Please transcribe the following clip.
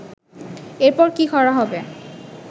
এরপর কি করা হবে